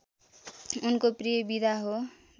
उनको प्रिय विधा हो